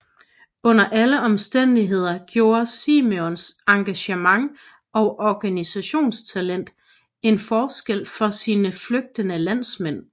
Under alle omstændigheder gjorde Simenons engagement og organisationstalent en forskel for sine flygtede landsmænd